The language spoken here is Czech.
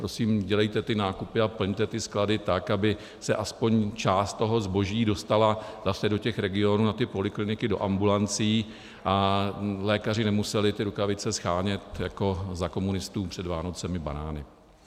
Prosím, dělejte ty nákupy a plňte ty sklady tak, aby se aspoň část toho zboží dostala zase do těch regionů na ty polikliniky, do ambulancí a lékaři nemuseli ty rukavice shánět jako za komunistů před Vánocemi banány.